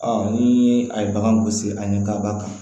ni a ye bagan gosi an ɲɛ kaba kan